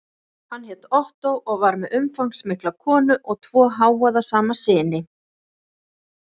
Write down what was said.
Hann hét Ottó og var með umfangsmikla konu og tvo hávaðasama syni.